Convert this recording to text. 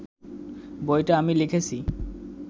বইটা আমি লিখেছি